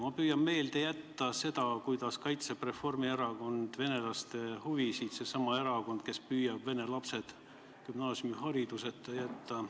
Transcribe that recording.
Ma püüan meelde jätta seda, kuidas Reformierakond kaitseb venelaste huvisid – seesama erakond, kes püüab vene lapsed gümnaasiumihariduseta jätta.